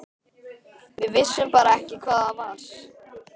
Við vissum bara ekki hvað það var.